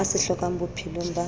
a se hlokang bophelong ba